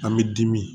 An bɛ dimi